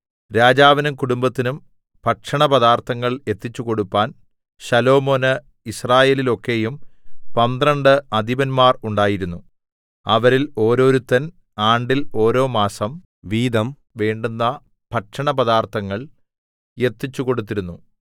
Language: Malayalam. രാജാവിനും കുടുംബത്തിനും ഭക്ഷണപദാർത്ഥങ്ങൾ എത്തിച്ചുകൊടുപ്പാൻ ശലോമോന് യിസ്രായേലിലൊക്കെയും പന്ത്രണ്ട് അധിപന്മാർ ഉണ്ടായിരുന്നു അവരിൽ ഓരോരുത്തൻ ആണ്ടിൽ ഓരോമാസം വീതം വേണ്ടുന്ന ഭക്ഷണപദാർത്ഥങ്ങൾ എത്തിച്ചുകൊടുത്തിരുന്നു